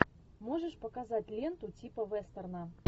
можешь показать ленту типа вестерна